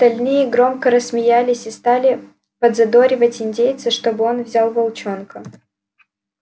остальные громко рассмеялись и стали подзадоривать индейца чтобы он взял волчонка